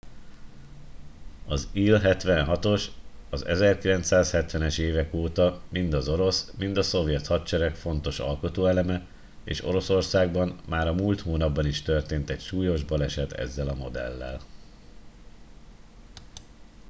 az il-76-os az 1970-es évek óta mind az orosz mind a szovjet hadsereg fontos alkotóeleme és oroszországban már a múlt hónapban is történt egy súlyos baleset ezzel a modellel